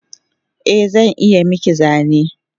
Eh zan iya miki zane